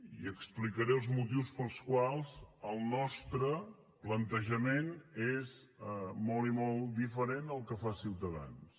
i explicaré els motius pels quals el nostre plantejament és molt i molt diferent del que fa ciutadans